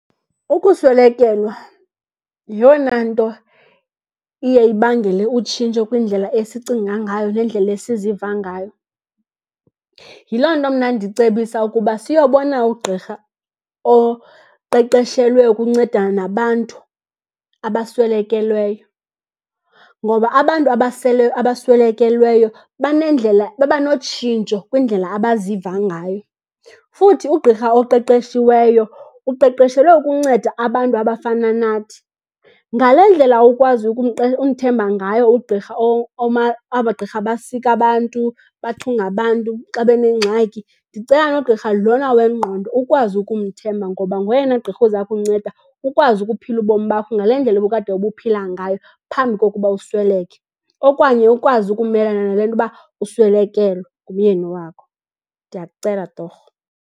Ukuswelekelwa yiyona nto iye ibangele utshintsho kwindlela esicinga ngayo nendlela esiziva ngayo. Yiloo nto mna ndicebisa ukuba siyobona ugqirha oqeqeshelwe ukuncedana nabantu abaswelekelweyo, ngoba abantu abaswelekelweyo banendlela, babanotshintsho kwindlela abaziva ngayo. Futhi ugqirha oqeqeshiweyo uqeqeshelwe ukunceda abantu abafana nathi. Ngale ndlela ukwazi umthemba ngayo ugqirha, abagqirha basika abantu, bathunga abantu xa benengxaki, ndicela nogqirha lona wengqondo ukwazi ukumthemba. Ngoba ngoyena gqirha uza kunceda ukwazi ukuphila ubomi bakho ngale ndlela obukade ubuphila ngayo, phambi kokuba usweleke, okanye ukwazi ukumelana nale nto uba uswelekelwe ngumyeni wakho. Ndiyakucela torho.